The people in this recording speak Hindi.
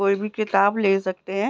कोई भी किताब ले सकते है।